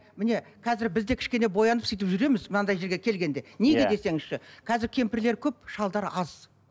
міне қазір бізде кішкене боянып сөйтіп жүреміз мынандай жерге келгенде неге десеңізші қазір кемпірлер көп шалдар аз